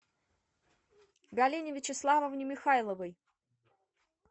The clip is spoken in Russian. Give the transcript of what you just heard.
галине вячеславовне михайловой